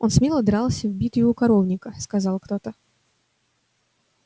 он смело дрался в битве у коровника сказал кто-то